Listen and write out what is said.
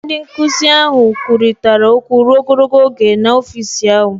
Ndị nkụzi ahụ kwurịtara okwu ruo ogologo oge n'ọfịs ahụ.